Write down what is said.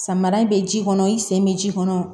Samara in bɛ ji kɔnɔ i sen bɛ ji kɔnɔ